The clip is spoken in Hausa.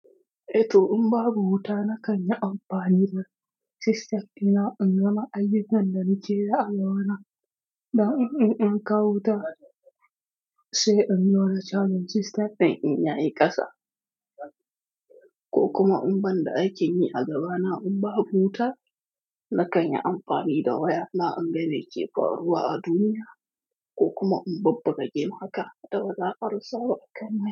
Eto in babu wuta, na kan yi amfani da system dina in ga ma aiyyukan da nake da alwala don in in kawo wuta sai in jona charging system ɗin in yayi ƙasa. Ko kuma in ban da aikin yi a gaba na in babu wuta, na kan yi amfani da waya na in ga me ke faruwa a duniya ko kuma in bubbuga gem haka da bazan karasa ba a kan mai.